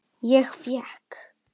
Ég fékk